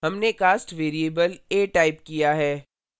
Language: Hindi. हमने cast variable a type किया है